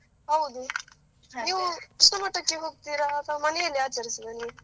ಹೌದು, ನೀವು ಕೃಷ್ಣಮಠಕ್ಕೆ ಹೋಗ್ತೀರಾ ಅಲ್ಲ ಮನೆಯಲ್ಲೇ ಆಚರಿಸುವುದಾ ನೀವು.